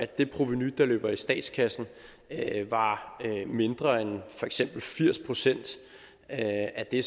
det provenu der løber i statskassen var mindre end for eksempel firs procent af det